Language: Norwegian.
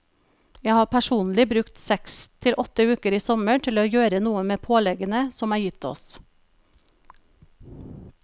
Jeg har personlig brukt seks til åtte uker i sommer til å gjøre noe med påleggene som er gitt oss.